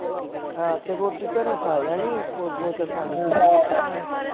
ਹਾਂ ਤੇ ਰੋਟੀ ਘਰੋਂ ਖਾ ਜਾਣੀ ਕੋਈ ਬੋਤਲ ਨਾਲ